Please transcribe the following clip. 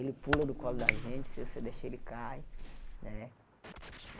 Ele pula do colo da gente, se você deixar ele cai, né?